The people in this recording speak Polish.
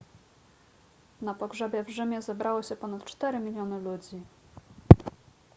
na pogrzebie w rzymie zebrało się ponad cztery miliony ludzi